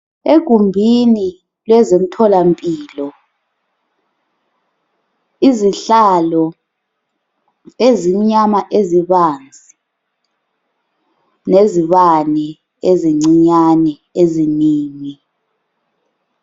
Egumbini lezemtholampilo, izihlalo ezimnyama ezibanzi lezibane ezincinyane eziningi.